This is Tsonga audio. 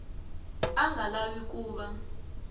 a nga lavi ku va